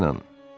Mənə inanın.